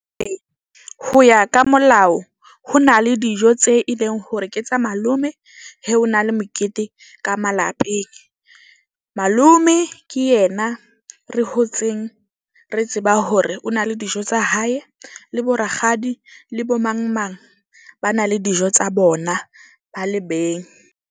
Ee, ho ya ka molao ho na le dijo tse e leng hore ke tsa malome, he ho na le mokete ka malapeng. Malome ke yena re hotseng re tseba hore o na le dijo tsa hae, le bo rakgadi le bo mang mang ba na le dijo tsa bona, ba le beng.